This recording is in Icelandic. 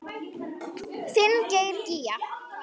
Þinn Geir Gígja.